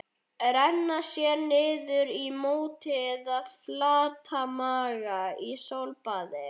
Renna sér niður í móti eða flatmaga í sólbaði?